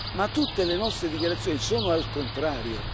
Ma tutte le nostre dichiarazioni sono al contrario.